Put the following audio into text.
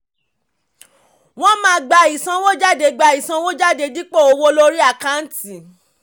wọ́n máa gba ìsanwójádé gba ìsanwójádé dípò owó lórí àkáǹtì.